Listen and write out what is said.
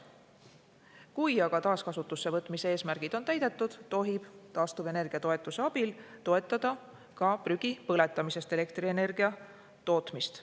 Kui aga taaskasutusse võtmise eesmärgid on täidetud, tohib taastuvenergia toetuse abil toetada ka prügi põletamisest elektrienergia tootmist.